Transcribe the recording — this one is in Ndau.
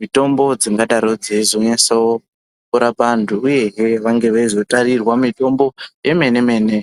mitombo dzingadaro dzeizonyatso rapa antu. uyehe vange veizotarirwa mitombo yemene-mene.